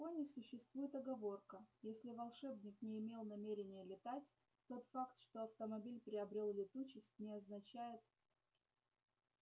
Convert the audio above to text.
в законе существует оговорка если волшебник не имел намерения летать тот факт что автомобиль приобрёл летучесть не означает